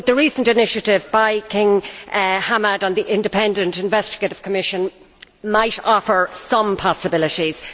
But the recent initiative by King Hamad on the independent and investigative commission might offer some possibilities.